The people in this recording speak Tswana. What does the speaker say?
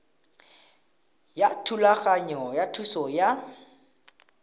ya thulaganyo ya thuso ya